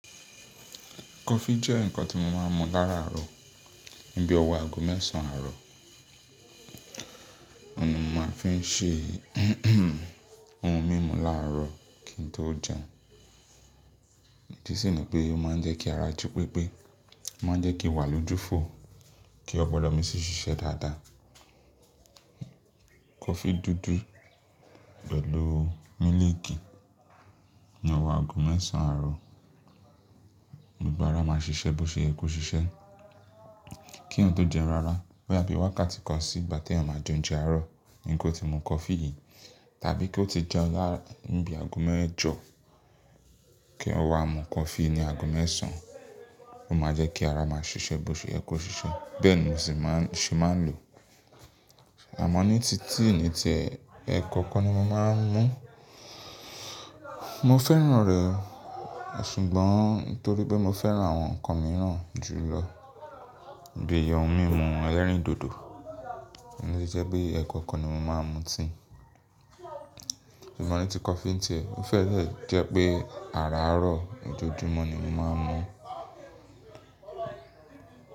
Kọfí jẹ́ ǹkan tí mo máa ń mu láàrọ̀ níbi ọ̀wọ́ aago mẹ́sàn-án àárọ̀. Òó ni mo máa fi ń ṣe ohun mímu láàrọ̀ kí n tó jẹun. Tí sì ni pé ó máa ń jẹ́ kí ara jí pépé, máa ń jẹ́ kí wà lójú fò, kí ó gbọ́dọ̀ mi sí ṣiṣẹ́ dáadáa. Kọfí dúdú pẹ̀lú mílíìkì ní ọ̀wọ́ aago mẹ́sàn-án àárọ̀, gbogbo ara máa ṣiṣẹ́ bó ṣe yẹ ko ṣiṣẹ́. Kí n tó jẹun rara bẹ́ àbí wákàtí kan sí ìgbà tí èèyàn máa jẹun jẹ àárọ̀ ni kò ti mu kọfí yìí tàbí kí ó ti jẹun lára níbi aago mẹ́jọ kí ó wá mu kọfí ní aago mẹ́sàn-án, ó máa jẹ́ kí ara máa ṣiṣẹ́ bó ṣe yẹ kó ṣiṣẹ́. Bẹ́ẹ̀ ni n òsí ṣe máa ń lò. Àmọ́ ní titi èyí ni ti ẹkọ kọ ni mo máa ń mú. Mo fẹ́ràn rẹ̀ ṣùgbọ́n torí pé mo fẹ́ràn àwọn ǹkan mìíràn jù lọ bí i ohun mímu ẹlẹ́rìndòdò, ó ní jẹ́ pé ẹkọ kọ ni mo máa ń mu tì. Ṣùgbọ́n ní ti kọfí ń tí ẹ, ó fẹ́ẹ́ le jẹ́ pé àrárọ̀ lójoojúmọ́ ni mo máa ń mú.